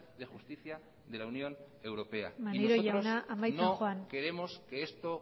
de justicia de la unión europea maneiro jauna amaitzen joan y nosotros no queremos que esto